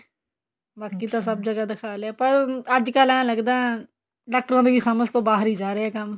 ਬਾਕੀ ਤਾਂ ਸਭ ਜਗ੍ਹਾ ਦਿਖਾ ਲਿਆ ਅੱਜਕਲ ਤਾਂ ਏਵੇਂ ਲਗਦਾ ਡਾਕਟਰਾਂ ਦੀ ਸਮਝ ਤੋਂ ਬਾਹਰ ਜਾ ਰਿਹਾ ਕੰਮ